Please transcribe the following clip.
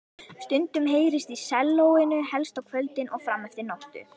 Stundum heyrðist í sellóinu, helst á kvöldin og frameftir nóttu.